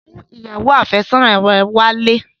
Mú ìyàwó àfẹ́sọ́nà rẹ wálé!